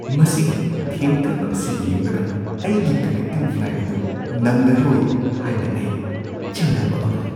ꯃꯁꯤꯒꯤ ꯊꯦꯡꯊꯕ ꯑꯁꯤ ꯌꯦꯡꯂꯒ ꯑꯩꯒꯤ ꯀꯟꯅꯦꯛꯇꯤꯡ ꯐ꯭ꯂꯥꯏꯠ ꯑꯗꯨ ꯅꯪꯂꯔꯣꯏ ꯍꯥꯏꯅ ꯑꯩ ꯆꯤꯡꯅꯕ ꯑꯃ ꯂꯩ꯫